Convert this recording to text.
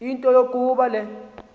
into yokuba le